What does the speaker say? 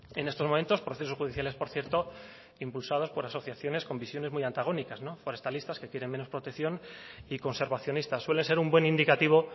en estos momentos procesos judiciales por cierto impulsados por asociaciones con visiones muy antagónicas por estadistas que quieren menos protección y conservacionistas suele ser un buen indicativo